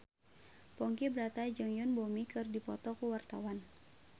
Ponky Brata jeung Yoon Bomi keur dipoto ku wartawan